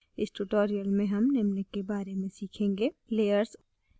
इस tutorial में हम निम्न के बारे में सीखेंगे * layers